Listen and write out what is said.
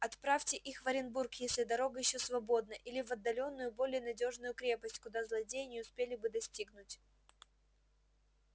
отправьте их в оренбург если дорога ещё свободна или в отдалённую более надёжную крепость куда злодеи не успели бы достигнуть